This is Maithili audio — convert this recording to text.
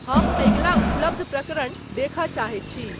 हम अगिला उपलब्ध प्रकरण देख चाहे छी